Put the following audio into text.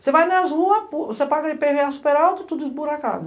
Você vai nas ruas, você paga i pê vê á super alto, tudo esburacado.